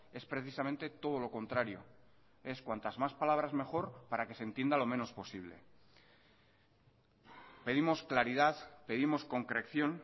es precisamente todo lo contrario es cuantas más palabras mejor para que se entienda lo menos posible pedimos claridad pedimos concreción